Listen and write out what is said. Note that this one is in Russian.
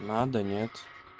надо нет